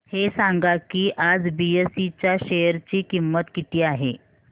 हे सांगा की आज बीएसई च्या शेअर ची किंमत किती आहे